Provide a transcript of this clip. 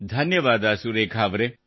ಧನ್ಯವಾದ ಸುರೇಖಾ ಅವರೇ